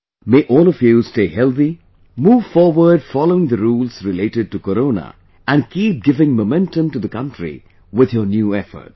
May all of you stay healthy, move forward following the rules related to Corona and keep giving momentum to the country with your new efforts